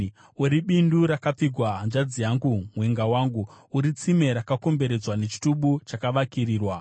Uri bindu rakapfigwa, hanzvadzi yangu, mwenga wangu. Uri tsime rakakomberedzwa, nechitubu chakavakirirwa.